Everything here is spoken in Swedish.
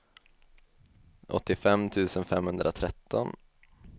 åttiofem tusen femhundratretton